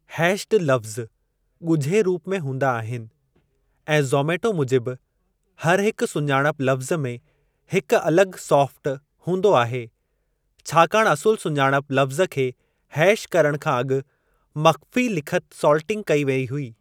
Hatched लफ़्ज़ ॻुझे रूप में हूंदा आहिनि, ऐं ज़ोमैटो मुजिबि, हर हिकु सुञाणप लफ़्ज़ में हिकु अलगि॒ 'सॉल्ट' हूंदो आहे , छाकाणि असुलु सुञाणप लफ़्ज़ खे हैश करणु खां अॻु मख़्फ़ी लिखति सॉल्टिंग कई वेई हुई।